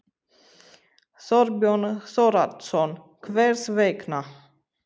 Þorbjörn Þórðarson: Hvers vegna?